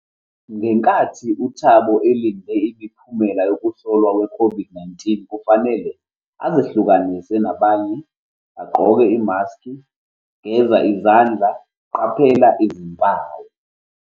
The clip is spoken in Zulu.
Ngenkathi uThabo elinde imiphumela yokuhlolwa i-COVID-19, kufanele azihlukanise nabanye, agqoke imaskhi, geza izandla, qaphela izimpawu.